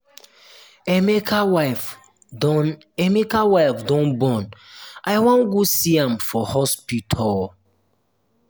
emeka wife don emeka wife don born i wan go see am for hospital